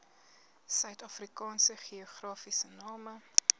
suidafrikaanse geografiese name